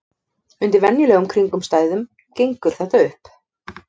Undir venjulegum kringumstæðum gengur þetta upp.